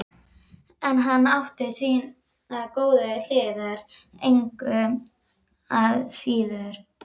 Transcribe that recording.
En hann átti sínar góðu hliðar engu að síður.